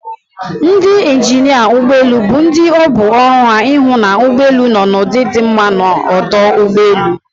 Ndị injinịa ụgbọelu bụ ndị ọ bụ ọrụ ha ịhụ na ụgbọelu nọ n'ụdị di mma n'ọdụ ụgbọelu